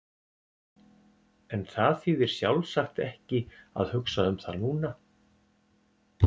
En það þýðir sjálfsagt ekki að hugsa um það núna.